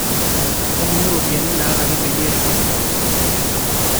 tolimu ropiyani nalaki peyie airegister nssf